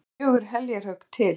Þurfti fjögur heljarhögg til.